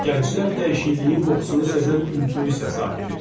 Gənclər dəyişikliyin qoxusunu sezən intuisiya sahibidir.